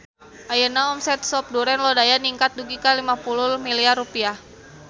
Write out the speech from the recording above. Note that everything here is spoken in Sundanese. Ayeuna omset Sop Duren Lodaya ningkat dugi ka 50 miliar rupiah